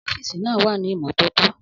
Ọ́fíìsì náà wà ní ìmọ́tótó.